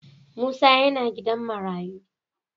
Musa yana gidan marayu.